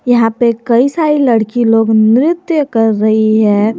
यहां पे कई सारी लड़की लोग नृत्य कर रही है।